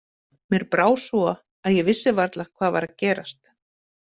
Mér brá svo að ég vissi varla hvað var að gerast.